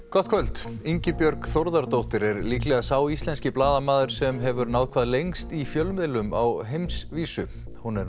gott kvöld Ingibjörg Þórðardóttir er líklega sá íslenski blaðamaður sem hefur náð hvað lengst í fjölmiðlum á heimsvísu hún er